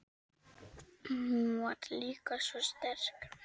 Hún var líka svo sterk.